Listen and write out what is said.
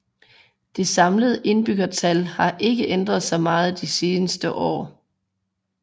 Det samlede indbyggertal har ikke ændret sig meget de seneste år